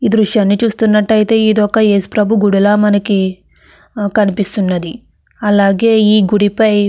ఈ దృశ్యాన్ని చూస్తున్నట్టయితే ఇది ఒక ఏసుప్రభు గుడిలా మనకు కనిపిస్తున్నది అలాగే ఈ గుడి పై--